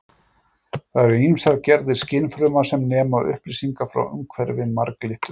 Þar eru ýmsar gerðir skynfruma sem nema upplýsingar frá umhverfi marglyttunnar.